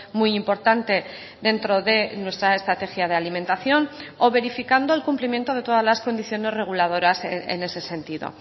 muy importante dentro de nuestra estrategia de alimentación o verificando el cumplimiento de todas las condiciones reguladoras en ese sentido